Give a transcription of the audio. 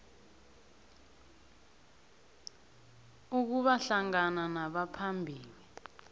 ukuba hlangana nabaphambili